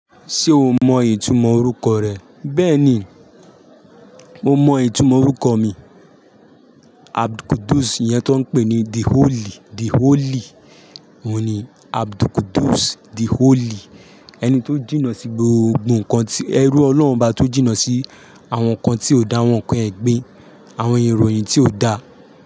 Ṣé o mọ ìtumọ̀ orúkọ rẹ? Bẹ́ẹ̀ni, mo mọ ìtumọ̀ orúkọ mi. AbdulQudus, ìyẹn tí wọ́n pè ní The Holy, The Holy. Òun ni AbdulQudus The Holy. Ẹni tó jìnnà sí gbogbo nkan tí ẹrú Ọlọ́hun bá tó jìnnà sí àwọn nkan tí o da, àwọn nkan ẹgbin, àwọn ìròyìn tí o da.